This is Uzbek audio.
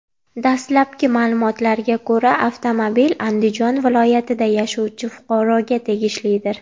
Dastlabki ma’lumotlarga ko‘ra, avtomobil Andijon viloyatida yashovchi fuqaroga tegishlidir.